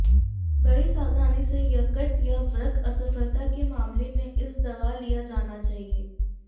बड़ी सावधानी से यकृत या वृक्क असफलता के मामले में इस दवा लिया जाना चाहिए